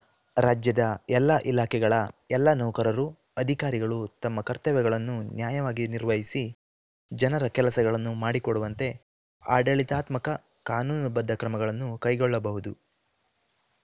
ರಾಜ್ಯದ ಎಲ್ಲ ಇಲಾಖೆಗಳ ಎಲ್ಲ ನೌಕರರು ಅಧಿಕಾರಿಗಳು ತಮ್ಮ ಕರ್ತವ್ಯಗಳನ್ನು ನ್ಯಾಯವಾಗಿ ನಿರ್ವಹಿಸಿ ಜನರ ಕೆಲಸಗಳನ್ನು ಮಾಡಿಕೊಡುವಂತೆ ಆಡಳಿತಾತ್ಮಕ ಕಾನೂನುಬದ್ಧ ಕ್ರಮಗಳನ್ನು ಕೈಗೊಳ್ಳಬಹುದು